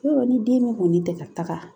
Yɔrɔ ni den min kɔni tɛ ka taga